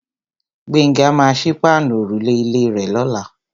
Gbénga maa sí páànù òrùlé ilé rè lọ́la.